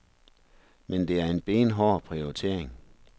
Men det er en benhård prioritering.